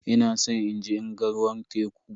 Ina san inje in ga ruwan teku.